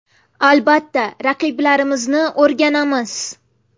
Albatta, raqiblarimizni o‘rganamiz.